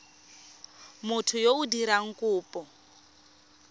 motho yo o dirang kopo